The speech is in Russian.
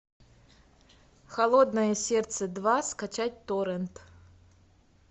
холодное сердце два скачать торрент